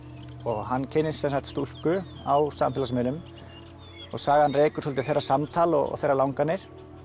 hann kynnist stúlku á samfélagsmiðlum og sagan rekur svolítið þeirra samtal og þeirra langanir